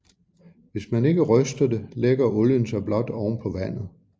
Hvis man ikke ryster det lægger olien sig blot oven på vandet